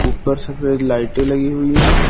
ऊपर सफेद लाइटें लगी हुई हैं।